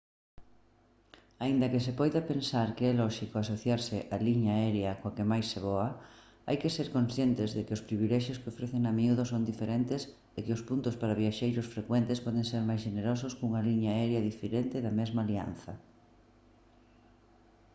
aínda que se poida pensar que é lóxico asociarse á liña aérea coa que máis se voa hai que ser conscientes de que os privilexios que ofrecen a miúdo son diferentes e que os puntos para viaxeiros frecuentes poden ser máis xenerosos cunha liña aérea diferente da mesma alianza